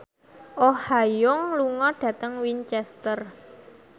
Oh Ha Young lunga dhateng Winchester